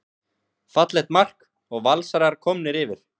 Fallegt mark og Valsarar komnir yfir.